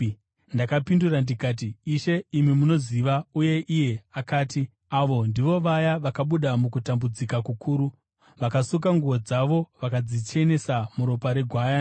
Ndakapindura ndikati, “Ishe, imi munoziva.” Uye iye akati, “Ava ndivo vaya vakabuda mukutambudzika kukuru; vakasuka nguo dzavo vakadzichenesa muropa reGwayana.